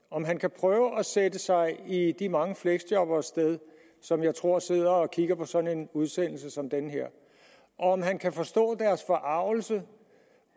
om han kan prøve at sætte sig i de mange fleksjobberes sted som jeg tror sidder og kigger på sådan en udsendelse som den her og om han kan forstå deres forargelse